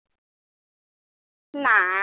নাই